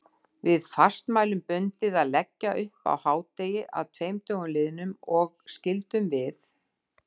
Var fastmælum bundið að leggja upp á hádegi að tveim dögum liðnum, og skyldum við